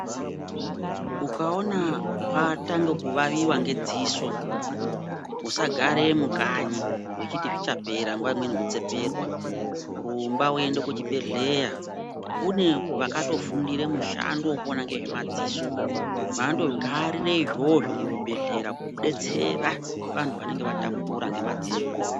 Ukaona watanga kuwawiwa ngedziso usagare mukanyi uchiti zvichapera nguva imweni kutseperwa .Rumba uende kuchibhedhlera kune vakatofundire mushando vekuona ngezvemadziso. Vakandogarire izvozvo muzvibhedhlera kubetsera vantu vanenge vatambura ngemadziso.